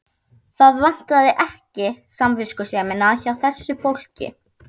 Það vantaði ekki samviskusemina hjá þessu fólki.